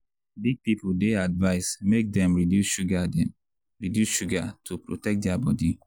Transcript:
big people dey advice make dem reduce sugar dem reduce sugar to protect their body.